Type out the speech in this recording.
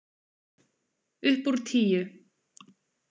Upp úr tíu.